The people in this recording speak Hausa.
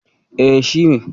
E, shi ne.